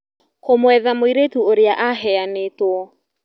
Kũmwetha mũirĩtu ũrĩa aheanĩtwo